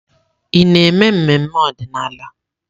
Ị na-eme mmemme ọdịnala?